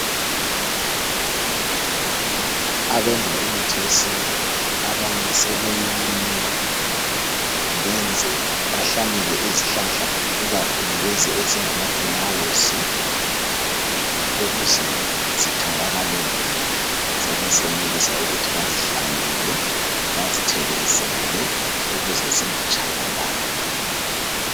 Abenza imithi yesintu abanye sebeyilima benze bahlanyele izihlahla ikakhulu lezi ezingama flawuzi ukuze ezitholakala sebesenelisa ukuthi bazihlanyele bazithelezele ukuze zingatshabalali